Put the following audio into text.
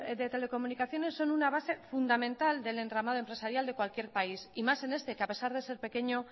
de telecomunicaciones son una base fundamental del entramado empresarial de cualquier país y más en este que a pesar de ser pequeño